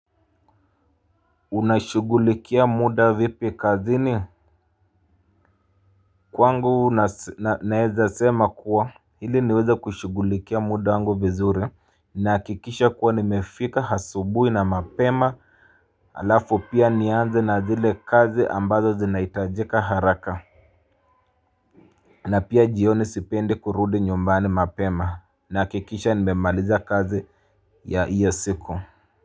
Unashugulikia muda vipi kazini. Kwangu naeza sema kuwa hili niweza kushugulikia muda wangu vizuri. Nakikisha kuwa nimefika asubui na mapema. Alafu pia nianze na zile kazi ambazo zinaitajika haraka. Na pia jioni sipendi kurudi nyumbani mapema. Nahakikisha nimemaliza kazi ya iyo siku kwa hivyo.